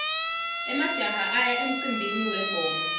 emajaha aya emcimbini wengoma